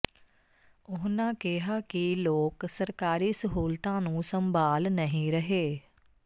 ਉਨ੍ਹਾਂ ਕਿਹਾ ਕਿ ਲੋਕ ਸਰਕਾਰੀ ਸਹੂਲਤਾਂ ਨੂੰ ਸੰਭਾਲ ਨਹੀ ਰਹੇ